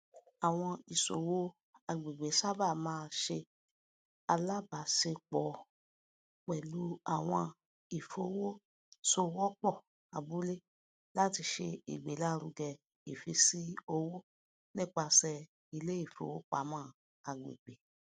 àwọn ìṣòwò àgbègbè sábà máa ṣe alábàáṣepọ pẹlú àwọn ìfowòsowọpọ abúlé láti ṣe igbélárugẹ ìfísí owó nípasẹ iléìfowopamọ àgbègbè